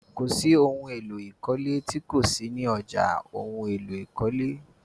Kò sí ohun èlò ìkọ́lé tí kò sí ni ọ̀já ohun èlò ìkọ́lé.